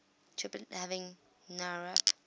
triplet having nowrap